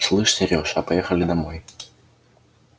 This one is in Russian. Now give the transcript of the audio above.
слышишь серёжа а поехали домой